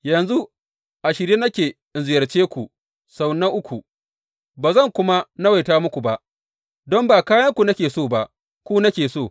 Yanzu a shirye nake in ziyarce ku sau na uku, ba zan kuma nawaita muku ba, don ba kayanku nake so ba, ku nake so.